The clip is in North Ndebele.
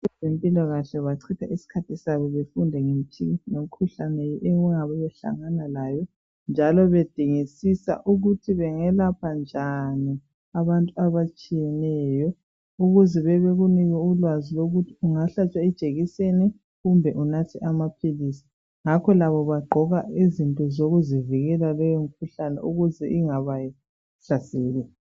Abazempilakahle bachitha isikhathi sabo befunda ngemikhuhlane njalo bedingisisa ukuthi bengelapha njani abantu abatshiyeneyo ukuze bekunike ulwazi lokuthi ungahlatshwa ijekiseni kumbe unathe amaphilisi ngakho labo bagqoka izinto zokubavikela kuleyo mikhuhlane ukuze ingabahlaseli.